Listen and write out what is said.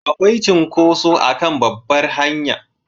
Akwai cunkoso a kan babbar hanya